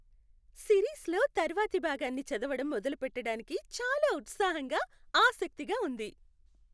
సిరీస్లో తర్వాతి భాగాన్ని చదవడం మొదలుపెట్టడానికి చాలా ఉత్సాహంగా, ఆసక్తిగా ఉంది!